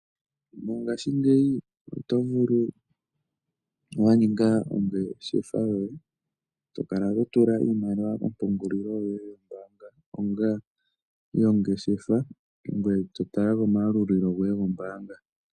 Mongashingeyi oto vulu wa ninga ongeshefa yoye to kala to tula iimaliwa kompungunlilo yoye yombaanga onga yongeshefa ngoye to tala komayalulilo goye gombaanga.